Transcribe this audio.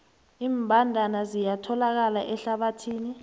iimbandana ziyatholakala ehlathini